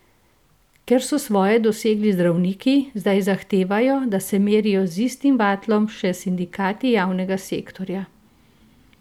Ker so svoje dosegli zdravniki, zdaj zahtevajo, da se merijo z istim vatlom še sindikati javnega sektorja.